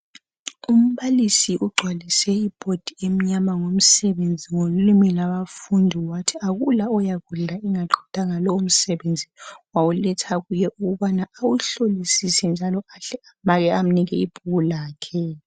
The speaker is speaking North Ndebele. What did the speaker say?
Umbalisi ugcwalise ibhodi emnyama ngomsebenzi walimuka abafundi wathi akula oyakudla engaqedanga lumsebenzi wawuletha kuye ukubana awuhlolisise njalo ahle amake amnike ibhuku lakhe.